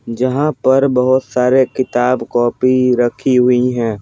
जहां पर बहुत सारे किताब कॉपी रखी हुई हैं ।